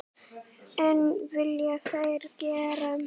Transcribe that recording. En vilja þeir gera það?